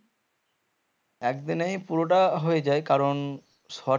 একদিনেই পুরোটা হয়ে যায় কারণ